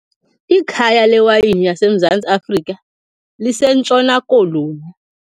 Ikhaya lewayini yaseMzantsi Afrika liseNtshona Koloni.